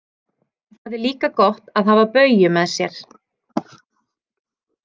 Það er líka gott að hafa Bauju með sér.